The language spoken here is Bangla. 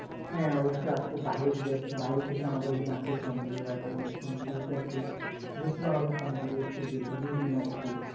হ্যাঁ অবশ্যই আছে বাহির থেকে আমাদের এখানে আসে সন্দ্বীপে আমাদের সন্দ্বীপে আসে যেহেতু নদীমাতৃক